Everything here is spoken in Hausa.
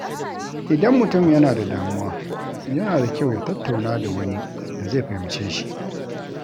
Idan mutum yana da damuwa, yana da kyau ya tattauna da wani da zai fahimce shi.